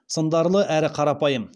сындарлы әрі қарапайым